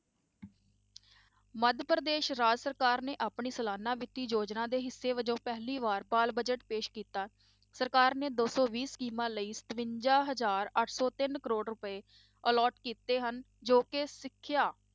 ਮੱਧ ਪ੍ਰਦੇਸ ਰਾਜ ਸਰਕਾਰ ਨੇ ਆਪਣੀ ਸਲਾਨਾ ਵਿੱਤੀ ਯੋਜਨਾ ਦੇ ਹਿੱਸੇ ਵਜੋਂ ਪਹਿਲੀ ਵਾਰ ਬਾਲ budget ਪੇਸ ਕੀਤਾ, ਸਰਕਾਰ ਨੇ ਦੋ ਸੌ ਵੀਹ ਸਕੀਮਾਂ ਲਈ ਸਤਵੰਜਾ ਹਜ਼ਾਰ ਅੱਠ ਸੌ ਤਿੰਨ ਕਰੌੜ ਰੁਪਏ allot ਕੀਤੇ ਹਨ, ਜੋ ਕਿ ਸਿੱਖਿਆ